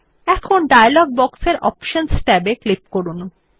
এখন ডায়লগ বক্সের অপশনস ট্যাবে ক্লিক করুন